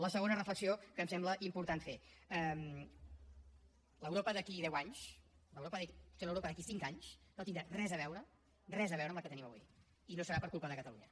la segona reflexió que em sembla important fer l’europa d’aquí a deu anys potser l’europa d’aquí a cinc anys no tindrà res a veure res a veure amb la que tenim avui i no serà per culpa de catalunya